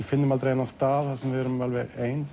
finnum aldrei þennan stað þar sem við erum alveg ein